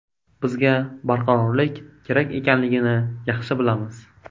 Bizga barqarorlik kerak ekanligini yaxshi bilamiz.